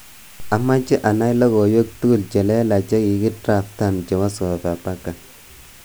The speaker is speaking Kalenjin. Amache anae logoiwek tugul chelelach jekikidraftan chebo Sofapaka